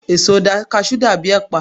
èso cashew dàbí ẹpa